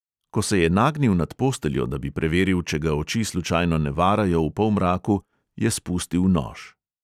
Ko se je nagnil nad posteljo, da bi preveril, če ga oči slučajno ne varajo v polmraku, je spustil nož.